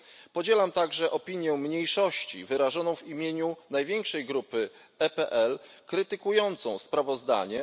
Podzielam także opinię mniejszości wyrażoną w imieniu największej grupy PPE, krytykującą sprawozdanie.